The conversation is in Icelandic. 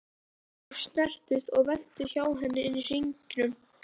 Þeir snerust og veltust hjá henni inni í hringnum.